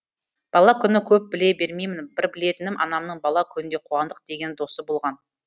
бала күні көп біле бермеймін бір білетінім анамның бала күнінде қуандық деген досы болған